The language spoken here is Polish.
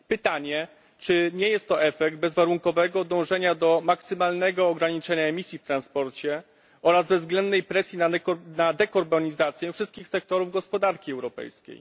Pytanie, czy nie jest to efekt bezwarunkowego dążenia do maksymalnego ograniczenia emisji w transporcie oraz bezwzględnej presji na dekarbonizację wszystkich sektorów gospodarki europejskiej.